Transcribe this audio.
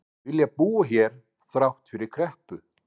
Vilja búa hér þrátt fyrir kreppu